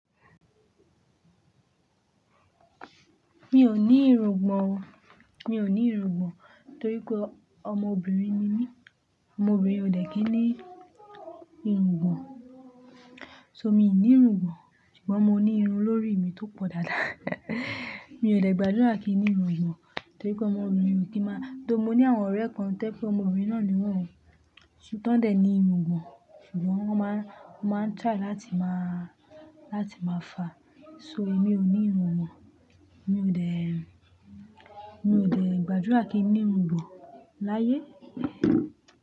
Mi ò ní irungbọ̀n o. Mi ò ní irungbọ̀n nítorí pé ọmọbìnrin ni mi. Ọmọbìnrin ò dẹ̀ ki n ní irungbọ̀n. So mi ò ní irungbọ̀n, ṣùgbọ́n mo ní irun lórí mi tó pọ̀ dáadáa. Mi ò dẹ̀ gbàdúrà kí n ní irungbọ̀n, torí pé ọmọbìnrin ò kí máa-- tó mo ní àwọn ọ̀rẹ́ kan tẹ́ pé ọmọbìnrin náà ni wọ̀n, tí wọ́n dẹ̀ ní irungbọ̀n, ṣùgbọ́n wọ́n máa ń, wọ́n máa ń try láti máa, láti máa fàá. So èmi ò ní irungbọ̀n, mi ò dẹ̀, mi ò dẹ̀ gbàdúrà kí n ní irungbọ̀n láyé.